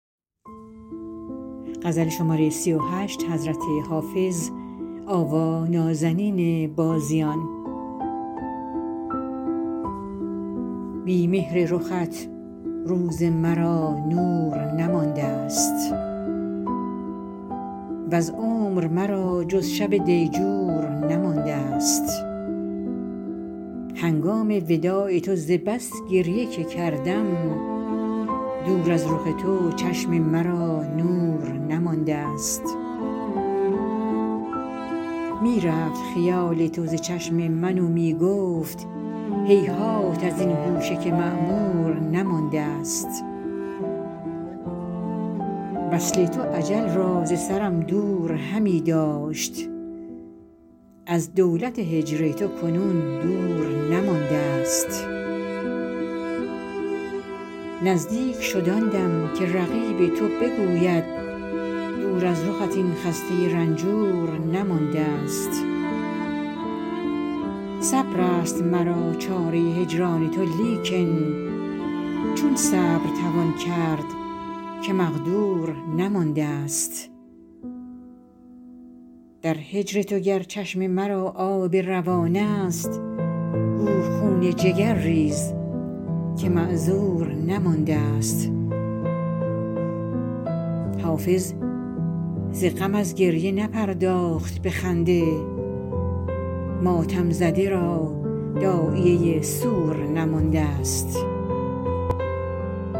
بی مهر رخت روز مرا نور نماندست وز عمر مرا جز شب دیجور نماندست هنگام وداع تو ز بس گریه که کردم دور از رخ تو چشم مرا نور نماندست می رفت خیال تو ز چشم من و می گفت هیهات از این گوشه که معمور نماندست وصل تو اجل را ز سرم دور همی داشت از دولت هجر تو کنون دور نماندست نزدیک شد آن دم که رقیب تو بگوید دور از رخت این خسته رنجور نماندست صبر است مرا چاره هجران تو لیکن چون صبر توان کرد که مقدور نماندست در هجر تو گر چشم مرا آب روان است گو خون جگر ریز که معذور نماندست حافظ ز غم از گریه نپرداخت به خنده ماتم زده را داعیه سور نماندست